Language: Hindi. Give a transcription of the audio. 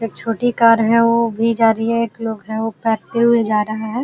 एक छोटी कार है वो भी जा रही है। एक लोग है वो हुए भी जा रहे है।